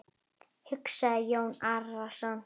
hugsaði Jón Arason.